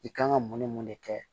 I kan ka mun ni mun de kɛ